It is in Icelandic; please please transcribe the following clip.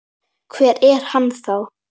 Hver er hann þá?